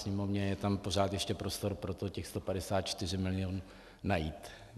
Sněmovně je tam pořád ještě prostor pro to těch 154 milionů najít.